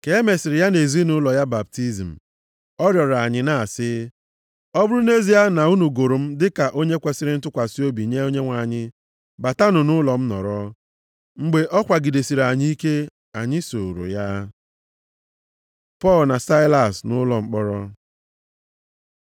Ka e mesịrị ya na ezinaụlọ ya baptizim, ọ rịọrọ anyị na-asị, “Ọ bụrụ nʼezie na unu gụrụ m dịka onye kwesiri ntụkwasị obi nye Onyenwe anyị, batanụ nʼụlọ m nọrọ.” Mgbe ọ kwagidesịrị anyị ike, anyị sooro ya. Pọl na Saịlas nʼụlọ mkpọrọ